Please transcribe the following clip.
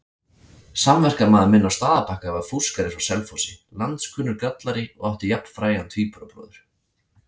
Samverkamaður minn á Staðarbakka var fúskari frá Selfossi, landskunnur grallari og átti jafnfrægan tvíburabróður.